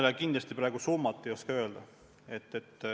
Ma kindlasti praegu summat ei oska öelda.